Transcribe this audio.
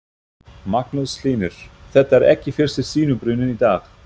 Magnús Hlynur: Þetta er ekki fyrsti sinubruninn í dag?